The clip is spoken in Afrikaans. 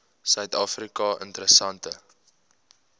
suid afrika interessante